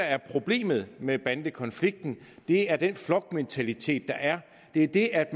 er problemet med bandekonflikten er den flokmentalitet der er det er det at